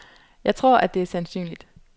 Jeg tror, at det er sandsynligt.